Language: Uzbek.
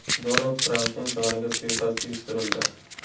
Donald Trampning joniga suiqasd uyushtirildi.